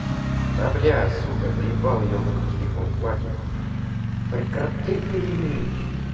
да бля сука заебал ёбанный телефон хватит прекрати